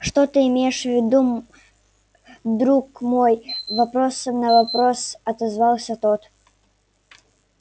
что ты имеешь в виду друг мой вопросом на вопрос отозвался тот